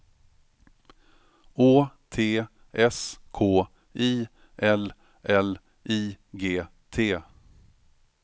Å T S K I L L I G T